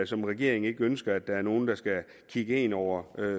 som regeringen ikke ønsker at der er nogen der skal kigge en over